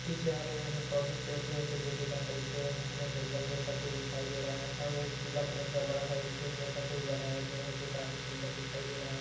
पीछे हरे हरे पौधे पेड़ पे जैसे देखे जा सकते है घना जंगल जैसा कुछ दिखाई दे रहा है पीले कलर का बड़ा इंटरेस्ट जैसा कुछ बनाया गया है जो काफी सुंदर दिखाई दे रहा है।